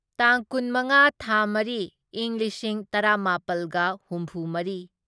ꯇꯥꯡ ꯀꯨꯟꯃꯉꯥ ꯊꯥ ꯃꯔꯤ ꯢꯪ ꯂꯤꯁꯤꯡ ꯇꯔꯥꯃꯥꯄꯜꯒ ꯍꯨꯝꯐꯨꯃꯔꯤ